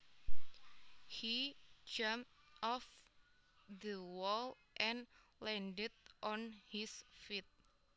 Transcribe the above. He jumped off the wall and landed on his feet